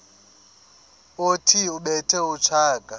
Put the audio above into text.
othi ubethe utshaka